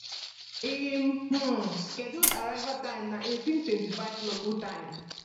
im um scheduled arrival time na 1825 local time